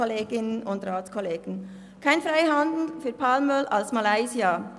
Kein Freihandel für Palmöl aus Malaysia: